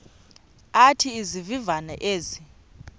athi izivivane ezi